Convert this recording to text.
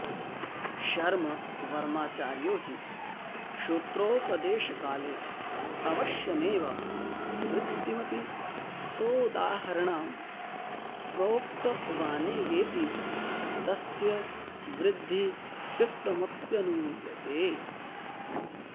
शर्ववर्माचार्यो हि सूत्रोपदेशकालेऽवश्यमेव वृत्तिमपि सोदाहरणां प्रोक्तवानेवेति तस्य वृद्धिकृत्त्वमप्यनुमीयते